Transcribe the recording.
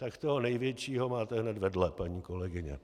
Tak toho největšího máte hned vedle, paní kolegyně.